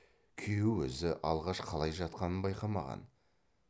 күйеу өзі алғаш қалай жатқанын байқамаған